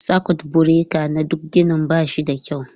Sakut bureka na duk ginin ba shi da kyau.